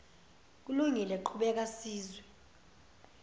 kulungile qhubeka sizwe